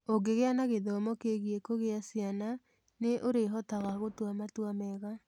Ũngĩgĩa na gĩthomo kĩgiĩ kũgĩa ciana, nĩ ũrĩhotaga gũtua matua mega.